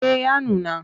Eh ya nuna.